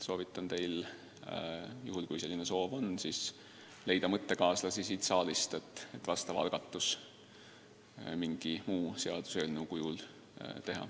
Kui te seda vajalikuks peate, siis soovitan leida mõttekaaslasi siit saalist, et sellekohane algatus mingi muu seaduseelnõu kujul teha.